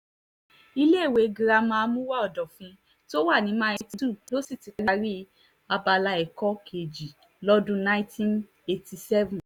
iléèwé girama àmúwò ọ̀dọ́fín tó wà ní mile two ló sì ti parí abala ẹ̀kọ́ kejì lọ́dún nineteen eighty seven